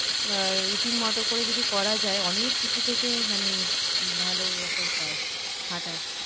routine মতো করে যদি করা যায় অনেক কিছু থেকে মানে ভালো একটা উপায় হাঁটার